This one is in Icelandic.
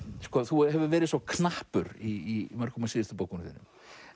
þú hefur verið svo knappur í mörgum af síðustu bókunum þínum